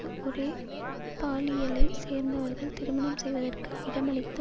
இது ஒரே பாலியலை சேர்ந்தவர்கள் திருமணம் செய்வதற்கு இடமளித்த